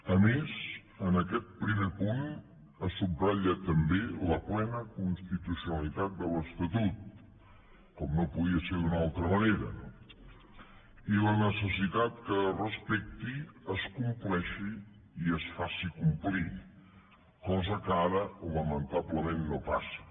a més en aquest primer punt se subratlla també la plena constitucionalitat de l’estatut com no podia ser d’una altra manera no i la necessitat que es respecti es compleixi i es faci complir cosa que ara lamentablement no passa